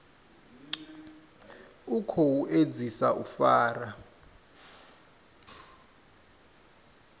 u khou edzisa u fara